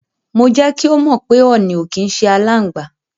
Mo jẹ́ kí ó mọ̀ pé ọ̀nì ò kí ń ṣe aláǹgbá.